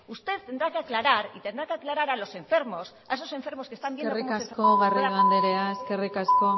usted tendrá que aclarar y tendrá que aclarar a los enfermos a esos enfermos que están viendo cómo eskerrik asko garrido andrea eskerrik asko